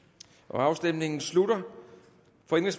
afstemningen slutter